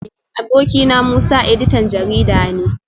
Abokina Musa editan jarida ne